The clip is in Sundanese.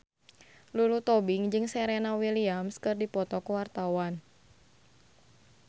Lulu Tobing jeung Serena Williams keur dipoto ku wartawan